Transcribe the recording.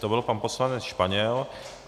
To byl pan poslanec Španěl.